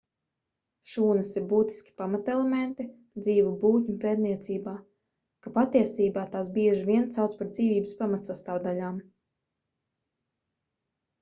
šūnas ir būtiski pamatelementi dzīvu būtņu pētniecībā ka patiesība tās bieži vien sauc par dzīvības pamatsastāvdaļām